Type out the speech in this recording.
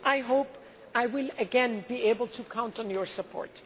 you. I hope I will again be able to count on your support.